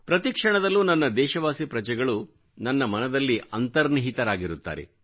ಪ್ರತಿಕ್ಷಣದಲ್ಲೂ ನನ್ನ ದೇಶವಾಸಿ ಪ್ರಜೆಗಳು ನನ್ನ ಮನದಲ್ಲಿ ಅಂತರ್ನಿಹಿತರಾಗಿರುತ್ತಾರೆ